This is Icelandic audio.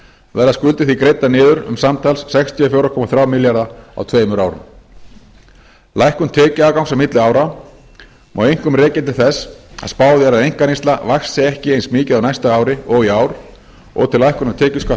verða skuldir því greiddar niður um samtals sextíu og fjögur komma þrjá milljarða á tveimur árum lækkun tekjuafgangs á milli ára má einkum rekja til þess að spáð er að einkaneysla vaxi ekki eins mikið á næsta ári og í ár og til lækkunar tekjuskatts